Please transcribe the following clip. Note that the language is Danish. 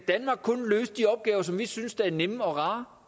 løse de opgaver som vi synes er nemme og rare